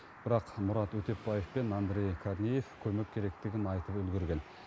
бірақ мұрат өтепбаев пен андрей корнеев көмек керектігін айтып үлгерген